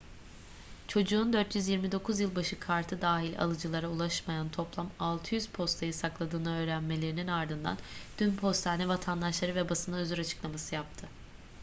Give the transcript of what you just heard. çocuğun 429 yılbaşı kartı dahil alıcılara ulaşmayan toplam 600 postayı sakladığını öğrenmelerinin ardından dün postane vatandaşlara ve basına özür açıklaması yaptı